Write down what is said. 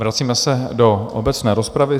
Vracíme se do obecné rozpravy.